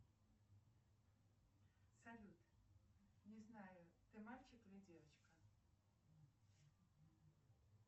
салют не знаю ты мальчик или девочка